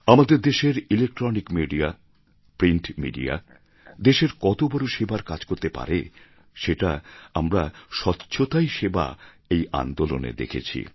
আমাদের দেশের electronic media print media দেশের কতবড়ো সেবার কাজ করতে পারে সেটা আমরা স্বচ্ছতাই সেবা আন্দোলনে দেখছি